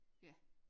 Ja